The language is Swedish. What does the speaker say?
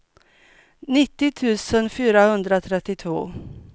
nittio tusen fyrahundratrettiotvå